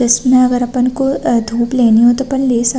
इसमें अगर अपन को अ धुप लेनी हो तो अपन ले सकते--